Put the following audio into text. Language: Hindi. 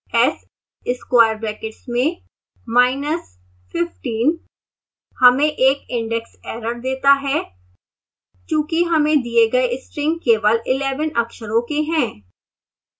s square brackets में minus 15 हमें एक indexerror देता है चूंकि हमें दिए गए string केवल 11 अक्षरों के हैं